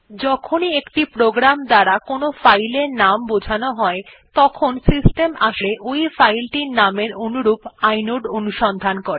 যখনই একটি প্রোগ্রামের দ্বারা একটি ফাইল এর নাম বোঝান হয় প্রকৃতপক্ষে সিস্টেম আসলে ওই ফাইলের নামটির অনুরূপ ইনোড অনুসন্ধান করে